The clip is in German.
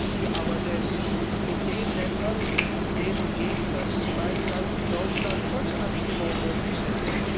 Was machen Sie aber denn mit den Ländern, in denen im Gegensatz zu meinem Land Deutschland Volksabstimmungen möglich sind?